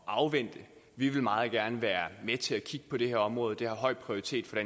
at afvente vi vil meget gerne være med til at kigge på det her område det har høj prioritet for